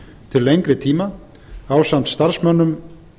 til lengri tíma ásamt starfsmönnum